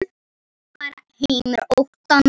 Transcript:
Þetta var heimur óttans.